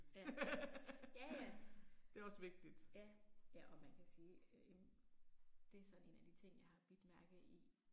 Ja. Ja ja. Ja. Ja og man kan sige øh jamen. Det er sådan en af de ting jeg har bidt mærke i